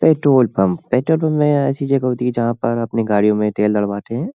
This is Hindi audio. पेट्रोल पंप पेट्रोल पंप में ऐसी जगह होती है जहाँ पर अपनी गाड़ियों में तेल डलवाते हैं।